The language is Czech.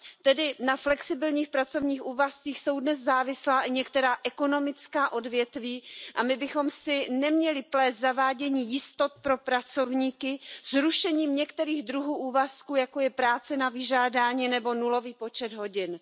Tedy na flexibilních pracovních úvazcích jsou dnes závislá i některá ekonomická odvětví a my bychom si neměli plést zavádění jistot pro pracovníky s rušením některých druhů úvazků, jako je práce na vyžádání nebo nulový počet hodin.